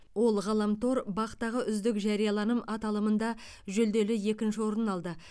ол ғаламтор бақ тағы үздік жарияланым аталымында жүлделі екінші орын алды